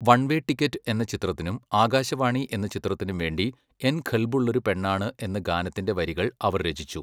One way ticket എന്ന ചിത്രത്തിനും ആകാശവാണി എന്ന ചിത്രത്തിനും വേണ്ടി എൻ ഖൽബുള്ളൊരു പെണ്ണാണ് എന്ന ഗാനത്തിന്റെ വരികൾ അവർ രചിച്ചു.